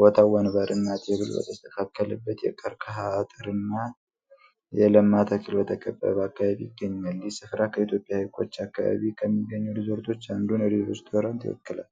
ቦታው ወንበርና ቴብል በተስተካከለበት፣ የቀርከሃ አጥርና የለማ ተክል በተከበበ አካባቢ ይገኛል። ይህ ስፍራ ከኢትዮጵያ ሀይቆች አካባቢ ከሚገኙት ሪዞርቶች አንዱን ሬስቶራንት ይወክላል?